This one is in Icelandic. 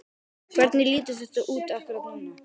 Hvernig lítur þetta út akkúrat núna?